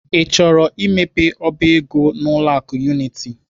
I chọrọ imepe ọba ego n'ụlọ akụ Unity?